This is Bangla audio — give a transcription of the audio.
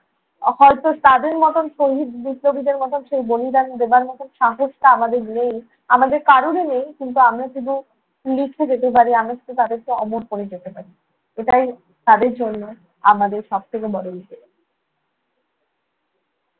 হয়তো তাদের মতন শহীদ বিপ্লবীদের মতন সেই বলিদান দেবার মত সাহসটা আমাদের নেই, আমাদের কারোরই নেই। কিন্তু আমরা শুধু লিখে যেতে পারি। আমরা শুধু তাদেরকে অমর করে যেতে পারি। এটাই তাদের জন্য আমাদের সব থেকে বড়